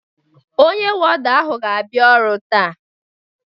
Ọnye wọda ahụ ga abia ọru taa